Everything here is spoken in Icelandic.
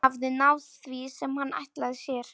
Hann hafði náð því sem hann ætlaði sér.